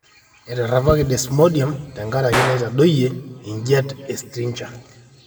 eterepaki desmodium tenkaraki enaitadoyie ejiati e striga